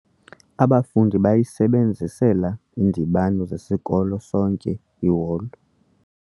Abafundi bayisebenzisela iindibano zesikolo sonke iholo.